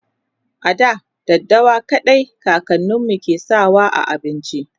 a da daddawa kawai kakaninmu ke sawa a abinci